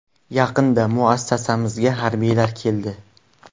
Yaqinda muassasamizga harbiylar keldi.